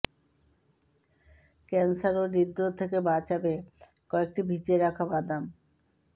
cancer ও হৃদরোগ থেকে বাঁচাবে কয়েকটি ভিজিয়ে রাখা বাদাম